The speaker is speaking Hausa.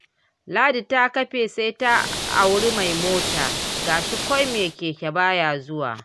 Ladi ta kafe sai ta auri mai mota, ga shi ko mai keke baya zuwa.